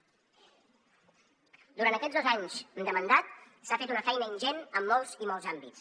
durant aquests dos anys de mandat s’ha fet una feina ingent en molts i molts àmbits